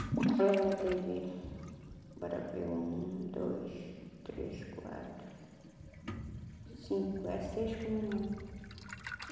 Ela ainda teve, bora ver, um, dois, três, quatro, cinco, é seis com a mamãe.